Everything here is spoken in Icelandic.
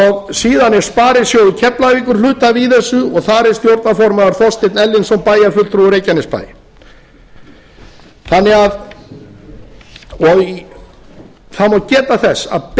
síðan er sparisjóður keflavíkur hluthafi í þessu og þar er stjórnarformaður þorsteinn erlingsson bæjarfulltrúi í reykjanesbæ það má geta þess að